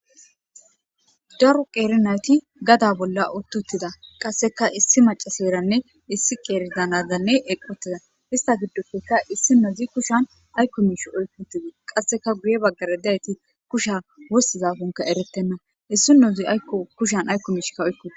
Daro qeeri nayti gada bolla utti uttida; qassekka issi maccasiyaranne issi qeeri da nadanne eqqi uttida; istta giddoppekka issinozi kushan aykko miishshi oykki uttida; qasseka guye bagaara diyayti kushiya wostizakonne ereetena; issinozi aykko kushen aykko miishsha oykki...